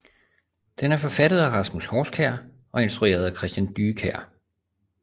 Den er forfattet af Rasmus Horskjær og instrueret af Christian Dyekjær